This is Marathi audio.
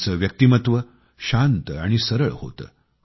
त्यांचे व्यक्तिमत्व शांत आणि सरळ होते